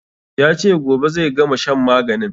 Ya ce gobe zai gama shan maganin